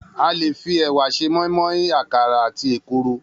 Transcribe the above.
A lè fi è̩wà s̩e mó̩ín-mó̩ín, àkàrà àti èkuru